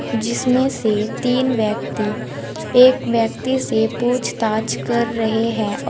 जिसमें से तीन व्यक्ति एक व्यक्ति से पूछताछ कर रहे हैं और--